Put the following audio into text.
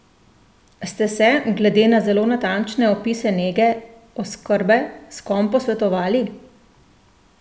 Ste se, glede na zelo natančne opise nege, oskrbe, s kom posvetovali?